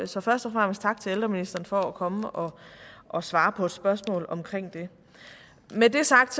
så først og fremmest tak til ældreministeren for at komme og og svare på et spørgsmål omkring det med det sagt